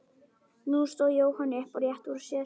Nú stóð Jóhann upp og rétti úr sér.